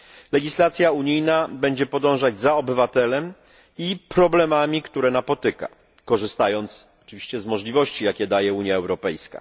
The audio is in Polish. Legislacja unijna będzie podążać za obywatelem i problemami, które napotyka, korzystając oczywiście z możliwości, jakie daje Unia Europejska.